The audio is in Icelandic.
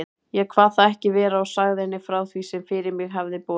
Ég kvað það ekki vera og sagði henni frá því, sem fyrir mig hafði borið.